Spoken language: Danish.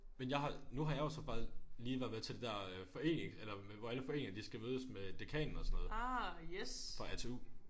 Men jeg har nu har jeg jo så faktisk lige været med til det der forening eller hvor alle foreninger de skal mødes med dekanen og sådan noget for A T U